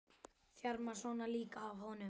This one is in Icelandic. Þjarmar svona líka að honum!